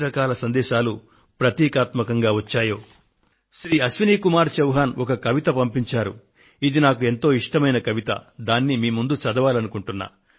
ఎన్ని రకాల సందేశాలు ప్రతీకాత్మకంగా వచ్చాయో వాటన్నింటికీ ఒక ప్రతీకగా శ్రీ మాన్ అశ్వినీకుమార్ చౌహాన్ పంపిన ఒక కవితను మీకు చదివి వినిపించాలనుకొంటున్నాను